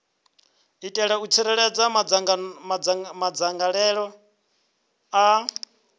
itela u tsireledza madzangalelo a